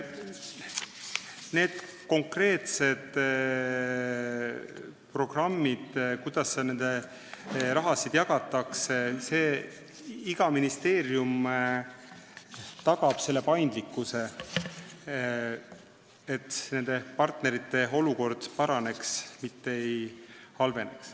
Mis puudutab konkreetseid programme, et kuidas seda raha jagatakse, siis iga ministeerium tagab paindlikkuse, et partnerite olukord paraneks, mitte ei halveneks.